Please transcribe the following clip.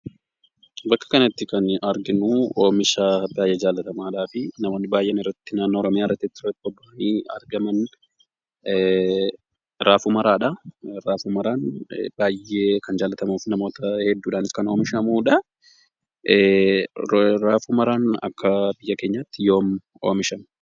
Bakka kanatti kan arginuu, Oomisha baayyee jaallatamaadhaa fi namootni baayyeen irratti naannoo Oromiyaarrattis irratti bobba'anii argaman ,raafuu maraadha. Raafuu maraan baayyee kan jaallatamuu fi namoota hedduudhaan kan oomishamuudha. Raafuu maraan akka biyya keenyaatti yoom oomishame?